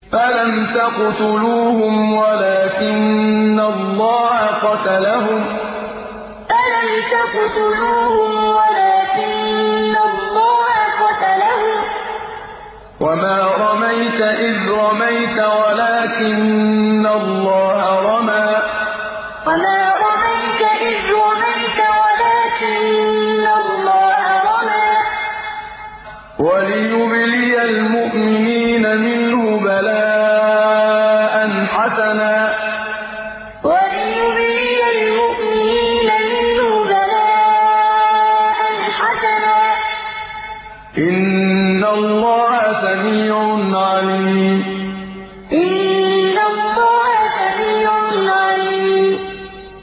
فَلَمْ تَقْتُلُوهُمْ وَلَٰكِنَّ اللَّهَ قَتَلَهُمْ ۚ وَمَا رَمَيْتَ إِذْ رَمَيْتَ وَلَٰكِنَّ اللَّهَ رَمَىٰ ۚ وَلِيُبْلِيَ الْمُؤْمِنِينَ مِنْهُ بَلَاءً حَسَنًا ۚ إِنَّ اللَّهَ سَمِيعٌ عَلِيمٌ فَلَمْ تَقْتُلُوهُمْ وَلَٰكِنَّ اللَّهَ قَتَلَهُمْ ۚ وَمَا رَمَيْتَ إِذْ رَمَيْتَ وَلَٰكِنَّ اللَّهَ رَمَىٰ ۚ وَلِيُبْلِيَ الْمُؤْمِنِينَ مِنْهُ بَلَاءً حَسَنًا ۚ إِنَّ اللَّهَ سَمِيعٌ عَلِيمٌ